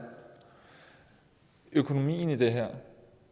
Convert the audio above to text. økonomien i det her